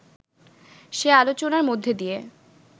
সে আলোচনার মধ্যে দিয়ে